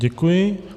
Děkuji.